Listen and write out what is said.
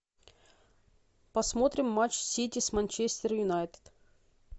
посмотрим матч сити с манчестер юнайтед